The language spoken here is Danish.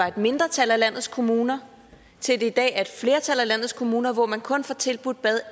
et mindretal af landets kommuner til i dag at flertal af landets kommuner hvor man kun får tilbudt bad